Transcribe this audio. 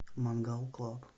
мангал клаб